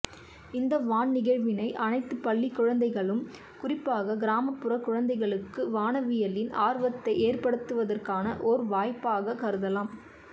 இந்த வான் நிகழ்வினை அனைத்து பள்ளிக் குழந்தைகளும் குறிப்பாக கிராமப்புறக் குழந்தைகளுக்கு வானவியலின் ஆர்வத்தை ஏற்படுத்துவற்கான ஓர் வாய்ப்பாகக் கருதலாம்